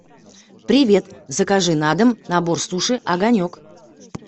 привет закажи на дом набор суши огонек